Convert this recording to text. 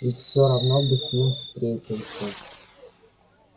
и все равно бы с ним встретился